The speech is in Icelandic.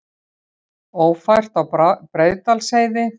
Ófært er á Breiðdalsheiði